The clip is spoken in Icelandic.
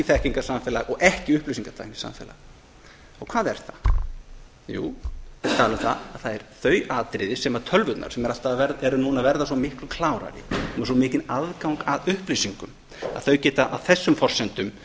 þekkingarsamfélagi og ekki upplýsingatæknisamfélagi og hvað er það jú ég er að tala um það að það eru þau atriði sem tölvurnar sem eru núna að verða svo miklu klárari við erum með svo mikinn aðgang að upplýsingum að þær geta á þessum forsendum